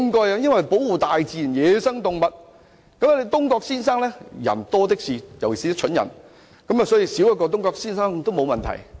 然而，像東郭先生的人多的是，尤其是一些蠢人，所以少一個東郭先生這類的人也沒有問題。